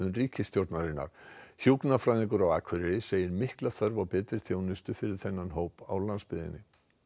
ríkisstjórnarinnar hjúkrunarfræðingur á Akureyri segir mikla þörf á betri þjónustu fyrir þennan hóp á landsbyggðinni